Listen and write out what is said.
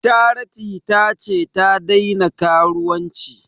Charity ta ce ta daina karuwanci